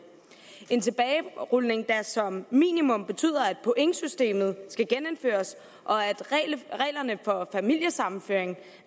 en tilbagerulning der som minimum betyder at pointsystemet skal genindføres og at reglerne for familiesammenføring